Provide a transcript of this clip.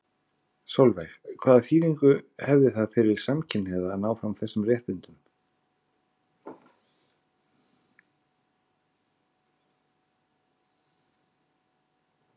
Sólveig: Hvaða þýðingu hefði það fyrir samkynhneigða að ná þessum réttindum fram?